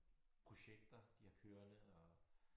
Projekter de har kørende og